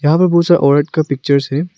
यहां पर बहुत सारे औरत का पिक्चर्स है।